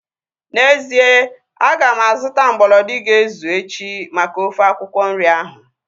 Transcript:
N'ezie, aga m azụta mgbolodi ga-ezu echi maka ofe akwụkwọ nri ahu